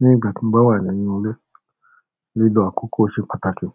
Ní ìgbà tí mo bá wà nínú ilé, lílọ akọ́kọ́ ṣe pàtàkì.